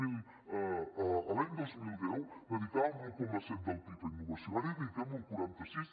miri l’any dos mil deu dedicàvem l’un coma set del pib a innovació ara hi dediquem l’un coma quaranta sis